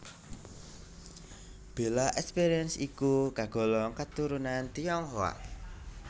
Bella Esperance iku kagolong katurunan Tionghoa